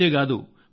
ఇంతేకాదు